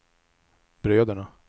bröderna